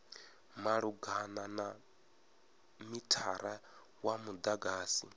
malugana na mithara wa mudagasi